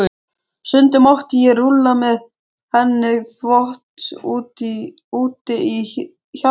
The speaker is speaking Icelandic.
Stundum mátti ég rulla með henni þvott úti í hjalli.